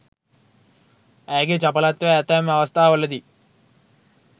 ඇයගේ චපලත්වය ඇතැම් අවස්ථාවලදී